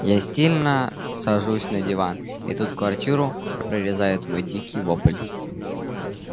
я стильно сажусь на диван и тут квартиру прорезает мой дикий вопль